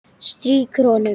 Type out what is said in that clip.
Strýkur honum.